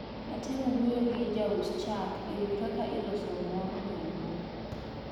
Natemo wuoyo gi jaus chak e wi kaka iloso mor nyaluo.